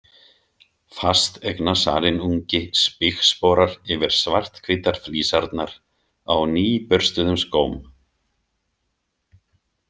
Fasteignasalinn ungi spígsporar yfir svarthvítar flísarnar á nýburstuðum skóm.